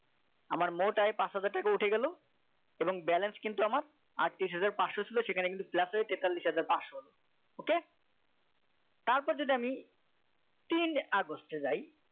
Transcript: আমার মোট আয় পাঁচ হাজার টাকা উঠে গেল এবং balance কিন্তু আমার আটত্রিশ হাজার পাঁচশো ছিল সেখানে কিন্তু plus হয়ে তেতাল্লিশ হাজার পাঁচশো হল okay তারপর যদি আমি তিন আগস্টে যাই